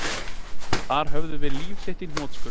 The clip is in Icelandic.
Þar höfum við líf þitt í hnotskurn